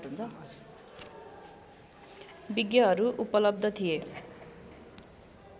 विज्ञहरू उपलब्ध थिए